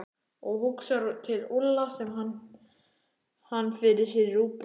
Og hugsar til Úlla, sér hann fyrir sér í rúgbrauðinu.